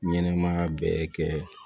Ɲɛnɛmaya bɛɛ kɛ